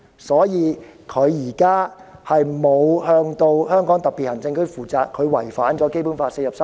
所以，她並沒有向香港特別行政區負責，違反了《基本法》第四十三條。